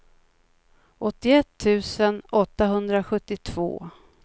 åttioett tusen åttahundrasjuttiotvå